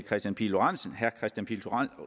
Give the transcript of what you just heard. kristian pihl lorentzen